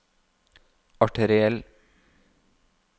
arteriell